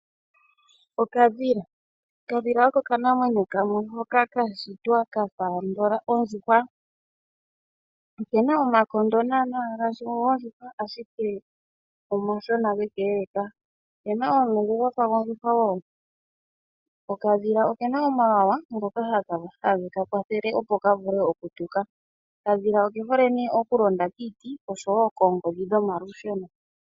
Okadhila Okadhila oko okanamweyo kamwe hoka ka shitwa ka fa andola ondjuhwa. Oke na omakaha naana ngaashi gondjuhwa, ashike gako omashona ge ka elaka. Oke na omulungu gwa fa gondjuhwa wo. Okadhila oke na omawawa ngoka hage ka kwathele opo ka vule okutuka. Okadhila oke hole nee okulonda kiiti oshowo koongodhi dhomalusheno.